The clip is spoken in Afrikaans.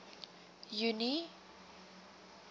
junie